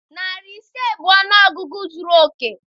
Narị ise bụ ọnụọgụgụ zuru oke.